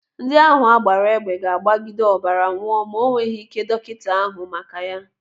Ndị ahụ agbaara egbe ga-agbagide ọbara nwụọ ma o nweghị ike dọkịta ahụ maka ya.